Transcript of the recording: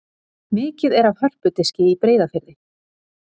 Mikið er af hörpudiski í Breiðafirði.